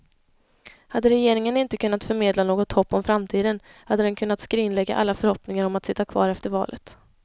Hade regeringen inte kunnat förmedla något hopp om framtiden hade den kunnat skrinlägga alla förhoppningar om att sitta kvar efter valet.